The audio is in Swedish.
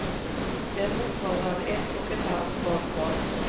Det motsvarar ett och ett halvt badkar.